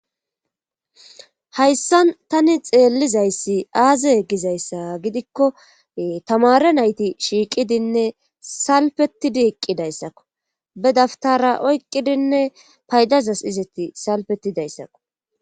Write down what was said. hayssan tani xeellizayssi aaze yeggizayssa gidikko tamare nayti shiiqidinne salpetidi eqqidayssakko be daftara oyqqidinne paydazas izeti salpetidayssako